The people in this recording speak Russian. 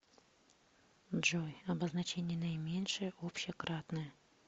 джой обозначение наименьшее общее кратное